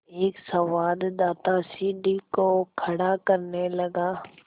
एक संवाददाता सीढ़ी को खड़ा करने लगा